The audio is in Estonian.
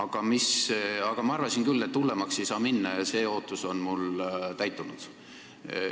Kuid ma arvasin küll, et hullemaks ei saa minna, ja see ootus on mul täitunud.